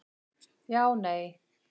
Já Nei